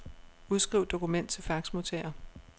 Udskriv dokument til faxmodtager.